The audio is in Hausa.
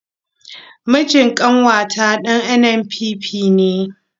Mijin ƙanwata ɗan NNPP ne.